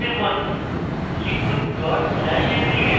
enter টিপুন লিখুন dot slash abs